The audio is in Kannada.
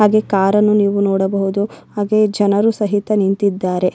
ಹಾಗೆ ಕಾರ್ ಅನ್ನು ನೀವು ನೋಡಬಹುದು ಹಾಗೆ ಜನರು ಸಹಿತ ನಿಂತಿದ್ದಾರೆ.